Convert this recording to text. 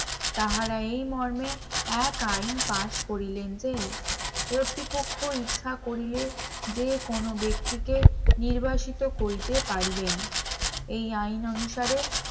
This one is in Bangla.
তাহারা এই মর্মে এক আইন pass করিলেন যে কর্তৃপক্ষ ইচ্ছা করিলে যে কোন ব্যক্তিকে নির্বাসিত করিতে পারিবেন এই আইন অনুসারে